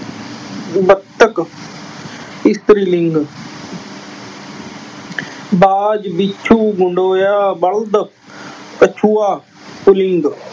ਬੱਤਖ। ਇਸਤਰੀ ਲਿੰਗ ਬਾਜ਼, ਬਿੱਛੂ, ਗੰਡੋਆ, ਬਲਦ, ਕੱਛੂਆ। ਪੁਲਿੰਗ